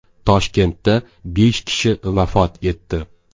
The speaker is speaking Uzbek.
Toshkentda besh kishi vafot etdi.